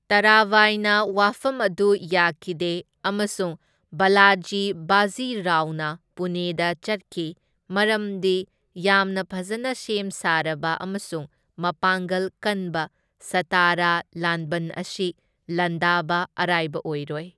ꯇꯔꯥꯕꯥꯏꯅ ꯋꯥꯐꯝ ꯑꯗꯨ ꯌꯥꯈꯤꯗꯦ ꯑꯃꯁꯨꯡ ꯕꯥꯂꯥꯖꯤ ꯕꯥꯖꯤ ꯔꯥꯎꯅ ꯄꯨꯅꯦꯗ ꯆꯠꯈꯤ ꯃꯔꯝꯗꯤ ꯌꯥꯝꯅ ꯐꯖꯅ ꯁꯦꯝ ꯁꯥꯔꯕ ꯑꯃꯁꯨꯡ ꯃꯄꯥꯡꯒꯜ ꯀꯟꯕ ꯁꯇꯥꯔꯥ ꯂꯥꯟꯕꯟ ꯑꯁꯤ ꯂꯥꯟꯗꯕ ꯑꯔꯥꯢꯕ ꯑꯣꯢꯔꯣꯢ꯫